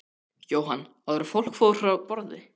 Jóhann: Áður en fólk fór frá borði?